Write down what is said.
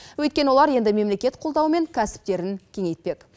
өйткені олар енді мемлекет қолдауымен кәсіптерін кеңейтпек